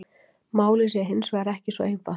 Málið sé hins vegar ekki svo einfalt